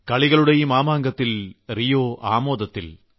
കളികളുടെ ഈ മാമാങ്കത്തിൽ റിയോ ആമോദത്തിൽ